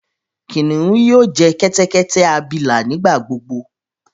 Kiniun yoo jẹ kẹtẹkẹtẹ abila nigbagbogbo.